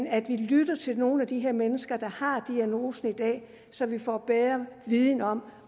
at vi lytter til nogle af de her mennesker der har diagnosen i dag så vi får bedre viden om